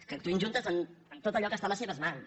que actuïn juntes en tot allò que està a les seves mans